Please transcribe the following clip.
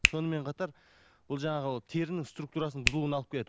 сонымен қатар бұл жаңағы терінің структурасының бұзылуына алып келеді